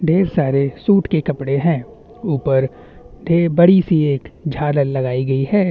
ढेर सारे सूट के कपड़े है ऊपर बड़ी सी एक झालर लागाई गइ है।